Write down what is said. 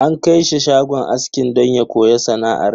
An kai shi shagon aski don ya koya sana'ar.